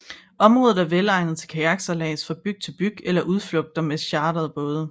Området er velegnet til kajaksejlads fra bygd til bygd eller til udflugter med chartrede både